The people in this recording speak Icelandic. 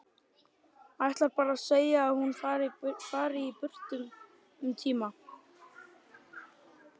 Ætlar bara að segja að hún fari burt um tíma.